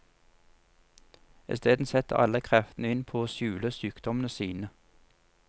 Isteden setter alle kreftene inn på å skjule sykdommene sine.